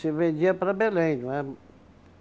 Se vendia para Belém, não é?